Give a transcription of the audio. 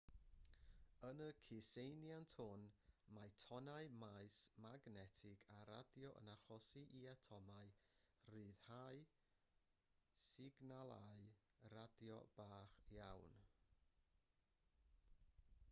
yn y cyseiniant hwn mae tonnau maes magnetig a radio yn achosi i atomau ryddhau signalau radio bach iawn